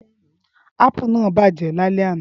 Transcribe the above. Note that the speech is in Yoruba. Ápù náà bàjẹ́ lálẹ́ àná.